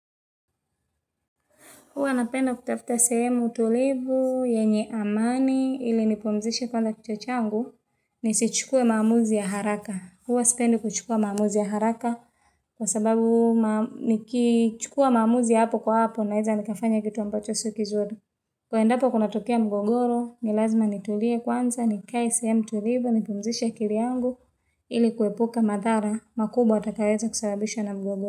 Huwa napenda kutafuta sehemu tulivu, yenye amani, ili nipumzishe kwanza kichwa changu, nisichukue maamuzi ya haraka. Huwa sipendi kuchukua maamuzi ya haraka, kwa sababu nikichukua maamuzi ya hapo kwa hapo, naeza nikafanya kitu ambacho si kizuri. Kuendapo kunatokea mgogoro, ni lazima nitulie kwanza, nikae sehemu tulivu, nipumzishe akili yangu, ili kuepuka madhara, makubwa yatakayoweza kusababishwa na mgogoro.